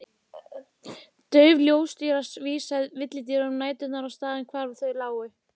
Dauf ljóstýra vísaði villidýrum næturinnar á staðinn hvar þau lágu.